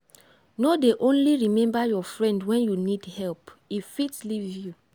friendship wey real no dey do competition dem dey support each oda. oda.